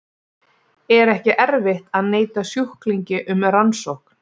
Er ekki erfitt að neita sjúklingi um rannsókn?